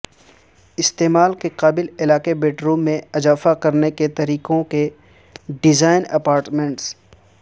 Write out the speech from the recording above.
استعمال کے قابل علاقے بیڈروم میں اضافہ کرنے کے طریقوں کے ڈیزائن اپارٹمنٹس